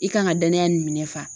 I kan ŋa danaya nin minɛ fa.